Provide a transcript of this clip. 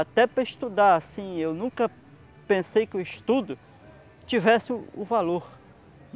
Até para estudar assim, eu nunca pensei que o estudo tivesse o o valor.